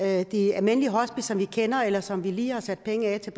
er de almindelige hospice som vi kender eller som vi lige har sat penge af til